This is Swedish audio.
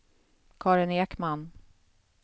Karin Ekman